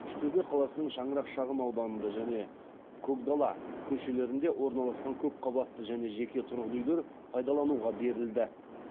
үштөбе қаласының шаңырақ шағын ауданында және көкдала көшелерінде орналасқан көпқабатты және жеке тұрғын үйлер пайдалануға берілді